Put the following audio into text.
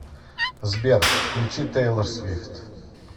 сбер включи тэйлор свифт